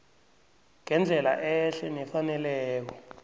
ngendlela ehle nefaneleko